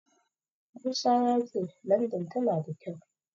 Musa ya ce Landan tana da kyau.